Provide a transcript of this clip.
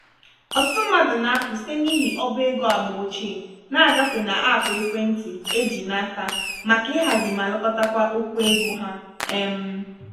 ọtụtụ mmadụ na-apụ site n'ihi ọbá ego agba ochie ná-agafe na app ekwentị eji n'aka maka ihazi ma lekọtawa okwu ego há. um